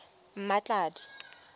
mmatladi